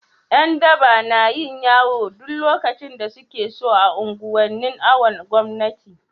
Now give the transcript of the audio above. Yandaba nayin yawo duk lokacin da sukeso a unguwanin awon gomnati